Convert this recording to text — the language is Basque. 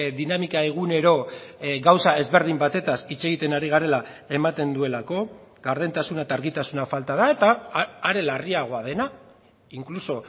dinamika egunero gauza ezberdin batetaz hitz egiten ari garela ematen duelako gardentasuna eta argitasuna falta da eta are larriagoa dena inkluso